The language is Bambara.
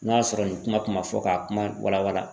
N'a sɔrɔ nin kuma kun ma fɔ ka kuma wala wala